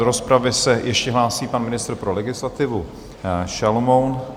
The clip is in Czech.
Do rozpravy se ještě hlásí pan ministr pro legislativu Šalomoun.